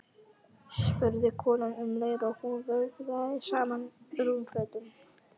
spurði konan um leið og hún vöðlaði saman rúmfötunum.